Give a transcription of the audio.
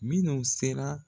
Minnu sera